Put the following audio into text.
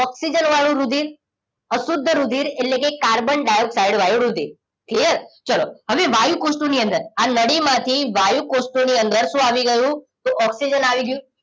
oxygen વાળું રુધિર અશુદ્ધ રુધિર એટલે કાર્બન ડાઇઓક્સાઇડ વાળું રુધિરક્લિયર ચલો હવે વાયુકોષ્ઠો ની અંદર આ નળી માંથી વાયુ કોષ્ઠો ની અંદર શું આવી ગયું ઓક્સિજન આવી ગયું